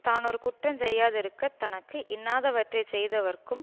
தானொரு குற்றஞ் செய்யாதிருக்க தனக்கு இன்னாத வற்றைச் செய்தவர்க்கும்